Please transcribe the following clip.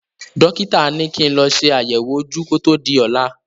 Dọ́kítà ní kí n lọ ṣe àyẹ̀wò ojú kó tó di ọ̀la.